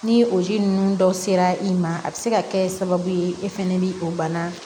Ni o ji ninnu dɔ sera i ma a bɛ se ka kɛ sababu ye e fɛnɛ bi o bana